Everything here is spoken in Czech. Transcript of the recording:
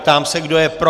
Ptám se, kdo je pro.